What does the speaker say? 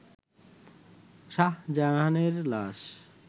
শাহজাহানের লাশ